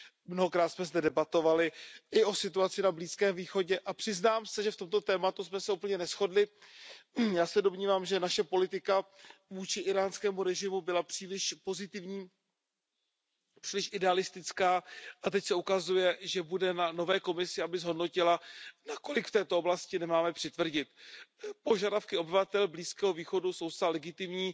Mnohokrát jsme zde debatovali i o situaci na Blízkém východě a přiznám se, že v tomto tématu jsme se úplně neshodli. Já se domnívám, že naše politika vůči íránskému režimu byla příliš pozitivní, příliš idealistická a teď se ukazuje, že bude na nové Komisi, aby zhodnotila, nakolik máme v této oblasti přitvrdit. Požadavky obyvatel Blízkého východu jsou zcela legitimní,